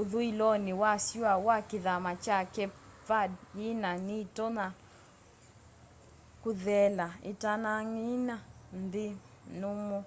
ũthũĩlonĩ wa syũa wa kithama kya cape verde nyina ni itonya kũthela itanaanang'a nthi nũmũ